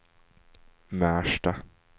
Märsta